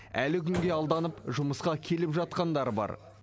әлі күнге алданып жұмысқа келіп жатқандар бар